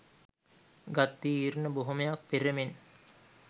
ගත් තීරණ බොහෝමයක් පෙර මෙන්